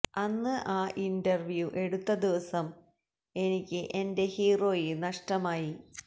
അന്ന് ആ ഇന്റര്വ്യൂ എടുത്ത ദിവസം എനിക്ക് എന്റെ ഹീറോയെ നഷ്ടമായി